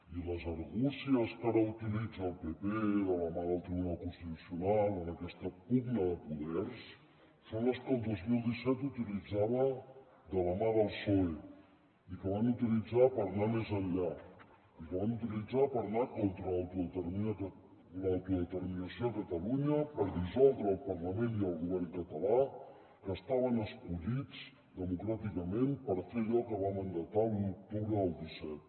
i les argúcies que ara utilitza el pp de la mà del tribunal constitucional en aquesta pugna de poders són les que el dos mil disset utilitzava de la mà del psoe i que van utilitzar per anar més enllà i que van utilitzar per anar contra l’autodeterminació a catalunya per dissoldre el parlament i el govern català que estaven escollits democràticament per fer allò que va mandatar l’u d’octubre del disset